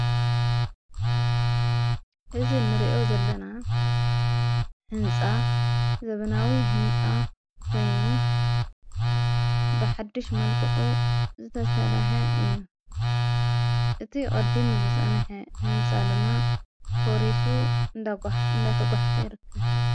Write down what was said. እዝ ንርእዮ ዘለና ሕንፃ ዘብናዊ ሕንፃ ኮይኑ ብሕድሽ መልቅዑ ዝተሰላሀ እዩ። እቲ ቐዲ ሙዝፅነሐ ሕንፃ ደማ ፈሪሱ እንዳጓሕ እንዳተጓሕፈ ይርክብ።